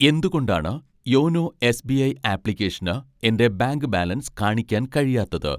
എന്തുകൊണ്ടാണ് YONO SBI ആപ്ലിക്കേഷന് എൻ്റെ ബാങ്ക് ബാലൻസ് കാണിക്കാൻ കഴിയാത്തത്